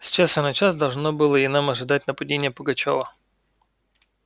с часу на час должно было и нам ожидать нападения пугачёва